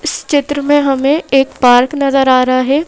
इस चित्र में हमें एक पार्क नजर आ रहा है।